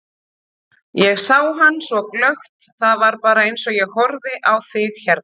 Ég sá hann svo glöggt, það var bara eins og ég horfi á þig hérna.